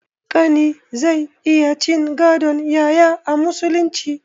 Ƙani zai iya cin gadon yaya a musulunci